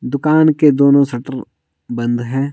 दुकान के दोनों शटर बंद है।